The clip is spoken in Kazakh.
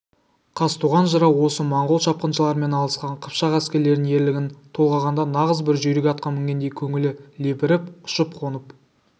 қазтуған жырау осы монғол шапқыншыларымен алысқан қыпшақ әскерлерінің ерлігін толғағанда нағыз бір жүйрік атқа мінгендей көңілі лепіріп ұшып-қонып